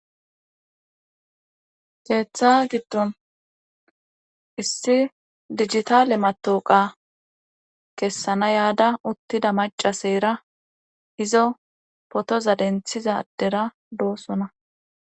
Keeththa giddon issi digitale matooqa kessana yaada uttida macaseyra hizo potoza denthizadera doosona